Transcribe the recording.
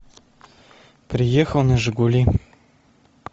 приехал на жигули